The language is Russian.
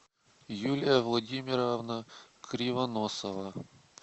юлия владимировна кривоносова